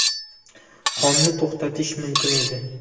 Qonni to‘xtatish mumkin edi.